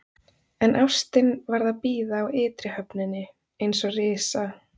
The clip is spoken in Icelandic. En ástin varð að bíða á ytri höfninni, eins og risa